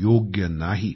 योग्य नाही